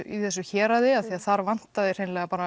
í þessu héraði því þar vantaði hreinlega